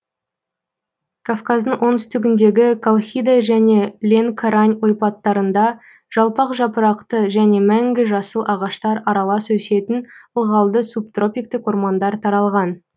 казказдың оңтүстігіндегі колхида және ленкорань ойпаттарында жалпақ жапырақты және мәңгі жасыл ағаштар аралас өсетін ылғалды субтропиктік ормандар таралған